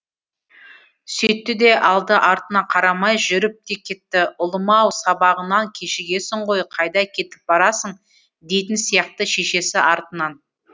сөйтті де алды артына қарамай жүріп те кетті ұлым ау сабағыңнан кешігесің ғой қайда кетіп барасың дейтін сияқты шешесі артынан